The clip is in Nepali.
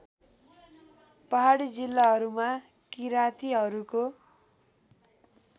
पहाडी जिल्लाहरूमा किरातीहरूको